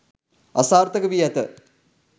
අසාර්ථකවී ඇත.